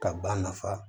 Ka ba nafa